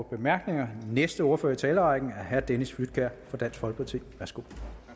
bemærkninger næste ordfører i talerrækken er herre dennis flydtkjær for dansk folkeparti værsgo